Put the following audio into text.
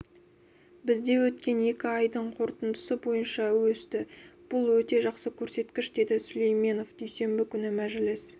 бізде өткен екі айдың қорытындысы бойынша өсті бұл өте жақсы көрсеткіш деді сүлейменов дүйсенбі күні мәжіліс